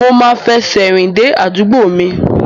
Mo máa fẹsẹ̀ rìn dé àdúgbò mi.